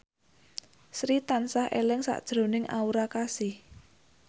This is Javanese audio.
Sri tansah eling sakjroning Aura Kasih